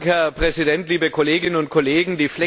Herr Präsident, liebe Kolleginnen und Kollegen!